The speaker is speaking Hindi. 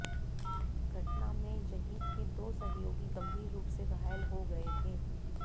घटना में जहिद के दो सहयोगी गंभीर रूप से घायल हो गए थे